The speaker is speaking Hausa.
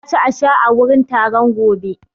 Za a ci a sha a wurin taron gobe.